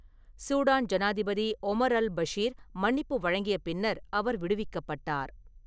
Sudan ஜனாதிபதி Omar al Bashir மன்னிப்பு வழங்கிய பின்னர் அவர் விடுவிக்கப்பட்டார்.